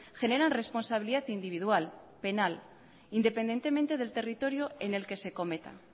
generan responsabilidad individual penal independientemente del territorio en el que se cometa